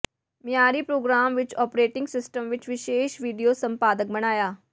ਮਿਆਰੀ ਪ੍ਰੋਗਰਾਮ ਵਿੱਚ operating system ਵਿੱਚ ਵਿਸ਼ੇਸ਼ ਵੀਡੀਓ ਸੰਪਾਦਕ ਬਣਾਇਆ